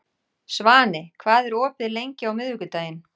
Svani, hvað er opið lengi á miðvikudaginn?